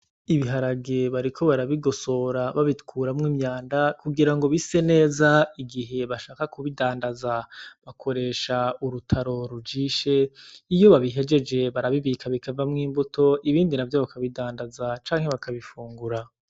Ibiharage bariko barabigosora babikuremwo imyanda , kugira ngo bise neza igihe bashaka kubidandaza , bakoresha urutaro rujishe ; iyo babihejeje barabibika bikavamw'imbuto ibindi navyo bakabidandaza canke bakabifungura.